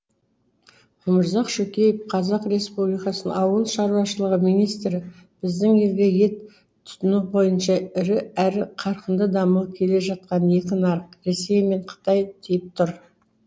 өмірзақ шөкеев қазақ республикасының ауыл шаруашылығы министрі біздің елге ет тұтыну бойынша ірі әрі қарқынды дамып келе жатқан екі нарық ресей мен қытай тиіп тұр